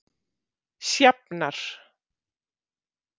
Sjafnar